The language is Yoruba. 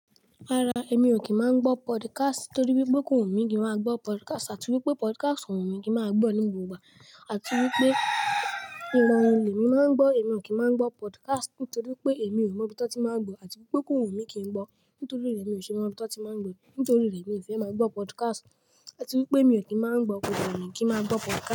Rárá, èmi ò kí ń máa gbọ́ podcast nítorí wípé kò wu mí kí n máa gbọ́ podcast àti wípé podcast kò wu mí kí n máa gbọ́ ní gbogbo ìgbà àti wípé ìmọ̀ orin lè mi máa ń gbọ́, èmi ò kí máa gbọ́ podcast nítorí pé èmi ò mọ ibi tán ti máa ń gbọ̀ àti wípé kò wu mí kí n gbọ́ nítorí rẹ̀ mi ò ṣe mọ ibí tán ti máa ń gbọ́ nítorí rẹ̀ mi ò fẹ́ máa gbọ́ podcast àti wípé mi ò kí máa ń gbọ́ kò dẹ wu mi kí n máa gbọ́ podcast.